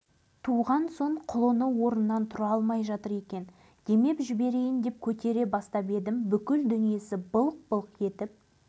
сонда қозының басы жүрек сияқты аяғы қойдың аяғы ал құйрығы балық сияқты болып туды